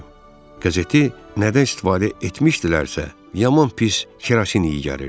Qəzeti nədən istifadə etmişdilərsə, yaman pis kerosin iyi gəlirdi.